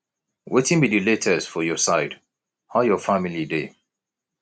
wetin be di latest for your side how your family dey